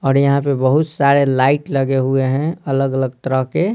और यहां पे बहुत सारे लाइट लगे हुए हैं अलग-अलग तरह के।